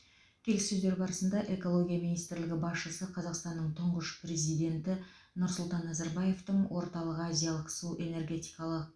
келіссөздер барысында экология министрлігі басшысы қазақстанның тұңғыш президенті нұрсұлтан назарбаевтың орталық азиялық су энергетикалық